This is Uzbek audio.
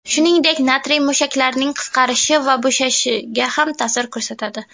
Shuningdek natriy mushaklarning qisqarishi va bo‘shashishiga ham ta’sir ko‘rsatadi.